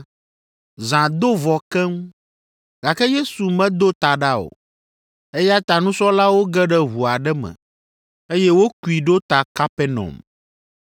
Zã do vɔ keŋ, gake Yesu medo ta ɖa o, eya ta nusrɔ̃lawo ge ɖe ʋu aɖe me, eye wokui ɖo ta Kapernaum.